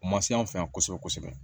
U ma se anw fɛ yan kosɛbɛ kosɛbɛ